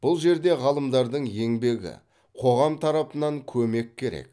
бұл жерде ғалымдардың еңбегі қоғам тарапынан көмек керек